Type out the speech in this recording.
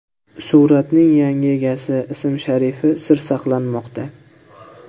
Suratning yangi egasi ism-sharifi sir saqlanmoqda.